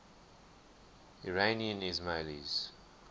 iranian ismailis